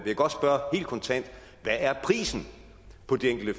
jeg godt spørge helt kontant hvad er prisen på det enkelte